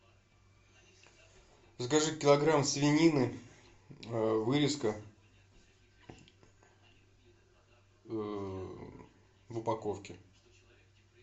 закажи килограмм свинины вырезка в упаковке